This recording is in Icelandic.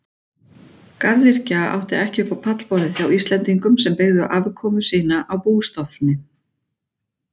Garðyrkja átti ekki upp á pallborðið hjá Íslendingum sem byggðu afkomu sína á bústofni.